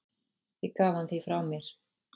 Ég gaf hann því frá mér.